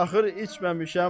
Çaxır içməmişəm.